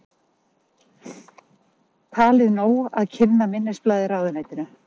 Talið nóg að kynna minnisblaðið ráðuneytinu